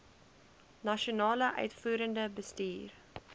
nasionale uitvoerende bestuur